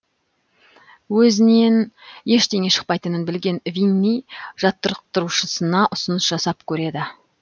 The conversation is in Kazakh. өзінен ештеңе шықпайтынын білген винни жаттықтырушысына ұсыныс жасап көреді